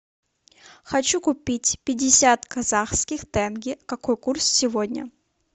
хочу купить пятьдесят казахских тенге какой курс сегодня